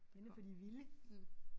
Den er for de vilde